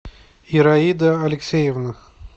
ираида алексеевна